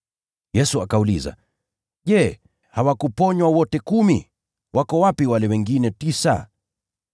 Yesu akauliza, “Je, hawakutakaswa wote kumi? Wako wapi wale wengine tisa?